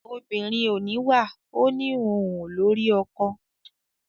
obìnrin ò níwà ò ní òun ò lórí ọkọ.